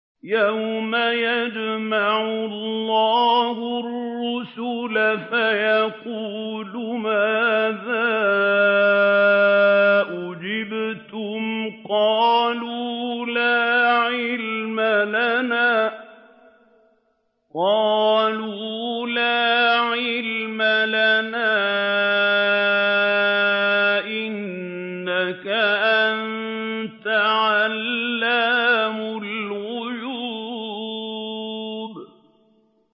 ۞ يَوْمَ يَجْمَعُ اللَّهُ الرُّسُلَ فَيَقُولُ مَاذَا أُجِبْتُمْ ۖ قَالُوا لَا عِلْمَ لَنَا ۖ إِنَّكَ أَنتَ عَلَّامُ الْغُيُوبِ